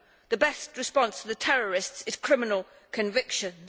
The best response to the terrorists is criminal convictions.